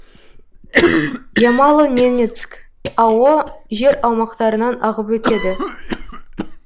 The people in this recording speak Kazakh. ямало ненецк ао жер аумақтарынан ағып өтеді